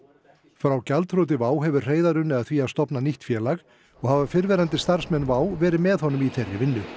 frá gjaldþroti WOW hefur Hreiðar unnið að því að stofna nýtt félag og hafa fyrrverandi starfsmenn WOW verið með honum í þeirri vinnu